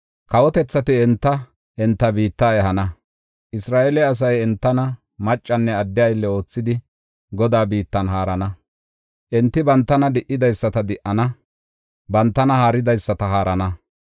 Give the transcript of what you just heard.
Kawotethati enta, enta biitta ehana. Isra7eele asay entana maccanne adde aylle oothidi Godaa biittan haarana. Enti bantana di7idaysata di7ana; bantana haaridaysata haarana.